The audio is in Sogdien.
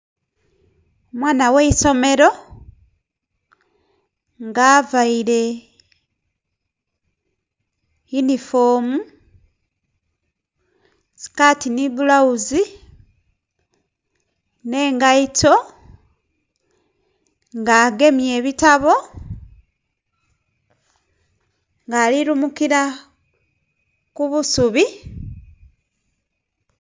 Omwana gh'eisomero nga availe yunifoomu, sikaati nhi bbulawuzi, nh'engaito nga agemye ebitabo ng'ali lumukila ku busubi.